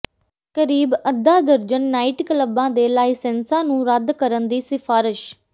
ਕਰੀਬ ਅੱਧਾ ਦਰਜਨ ਨਾਈਟ ਕਲੱਬਾਂ ਦੇ ਲਾਇਸੈਂਸਾਂ ਨੂੰ ਰੱਦ ਕਰਨ ਦੀ ਸਿਫਾਰਿਸ਼